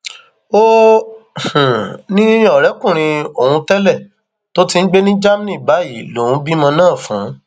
ó um ní ọrẹkùnrin òun tẹlẹ tó um ti ń gbé ní germany báyìí lòun bímọ náà fún un